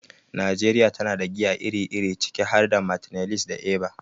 Najeriya tana da giya iri-iri, ciki har da Martineliss da Eva.